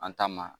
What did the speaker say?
An ta ma